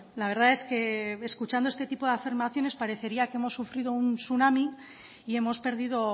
la verdad es que escuchando este tipo de afirmaciones parecería que hemos sufrido un tsunami y hemos perdido